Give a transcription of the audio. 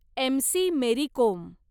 MC. Mary Kom